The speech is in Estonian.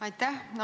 Aitäh!